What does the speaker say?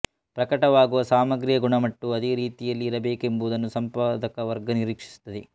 ಪ್ರಕಟವಾಗುವ ಸಾಮಗ್ರಿಯ ಗುಣಮಟ್ಟವೂ ಅದೇ ರೀತಿಯಲ್ಲಿ ಇರಬೇಕೆಂಬುದನ್ನು ಸಂಪಾದಕ ವರ್ಗ ನಿರೀಕ್ಷಿಸುತ್ತದೆ